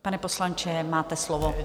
Pane poslanče, máte slovo.